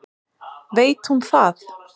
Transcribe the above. Veit hún það?